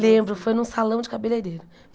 Lembro, foi num salão de cabeleireiro.